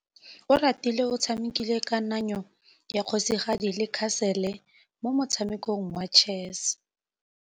Oratile o tshamekile kananyô ya kgosigadi le khasêlê mo motshamekong wa chess.